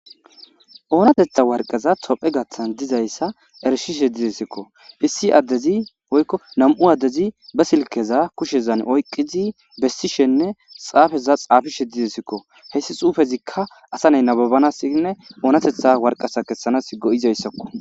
Oonatetha warqaza tophe gaththan dizayssa erishishe didesikko fisi addezinam7u addezi ba silkeza kushezan oyqqizi bessishenne xaafeza xaafishe didesikko heyssi xuufezikka asa ney nababanasinne oonatetha warqasa kessanas go7izayssakko